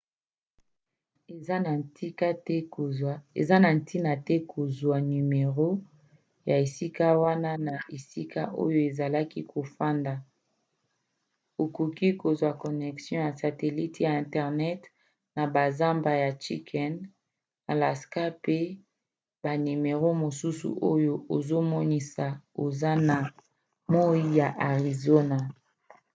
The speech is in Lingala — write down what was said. eza na ntina te kozwa nimero ya esika wana na esika oyo ozali kofanda; okoki kozwa connection ya satelite ya internet na bazamba ya chicken alaska pe na banimero mosusu oyo ezomonisa oza na moi ya arizona